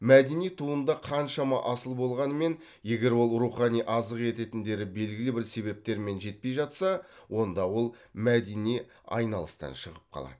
мәдени туынды қаншама асыл болғанымен егер ол рухани азық ететіндері белгілі бір себептермен жетпей жатса онда ол мәдени айналыстан шығып қалады